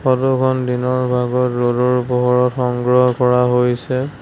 ফটোখন দিনৰ ভাগৰ ৰ'দৰ পোহৰত সংগ্ৰহ কৰা হৈছে।